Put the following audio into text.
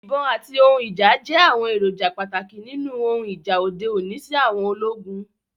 Ibon ati ohun ija jẹ awọn eroja pataki ninu ohun ija ode oni si àwọn ologun